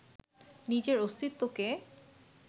নিজের অস্তিত্বকে